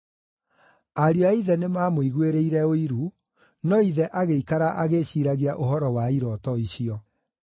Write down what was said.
Ariũ a ithe nĩmamũiguĩrĩire ũiru, no ithe agĩikara agĩĩciiragia ũhoro wa irooto icio.